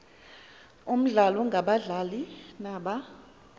omdlalo ngabadlali naba